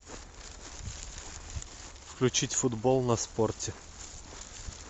включить футбол на спорте